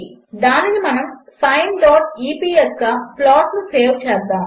దానిని మనము sineఇపిఎస్ గా ప్లాట్ను సేవ్ చేద్దాము